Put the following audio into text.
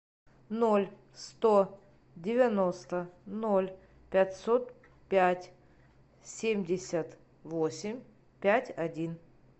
ноль сто девяносто ноль пятьсот пять семьдесят восемь пять один